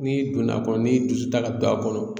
N'i donn'a kɔnɔ n'i dusu ta ka don a kɔnɔ